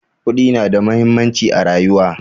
Kuɗi na da muhimmanci a rayuwa